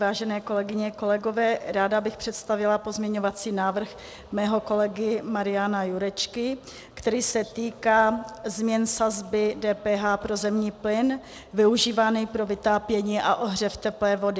Vážené kolegyně, kolegové, ráda bych představila pozměňovací návrh svého kolegy Mariana Jurečky, který se týká změn sazby DPH pro zemní plyn využívaný pro vytápění a ohřev teplé vody.